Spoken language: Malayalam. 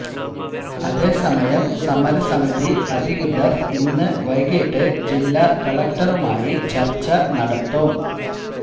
അതേ സമയം സമരസമിതി അധികൃതര് ഇന്ന് വൈകീട്ട് ജില്ലാ കലക്ടറുമായി ചര്ച്ച നടത്തും